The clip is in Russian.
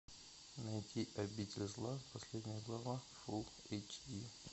найти обитель зла последняя глава фул эйч ди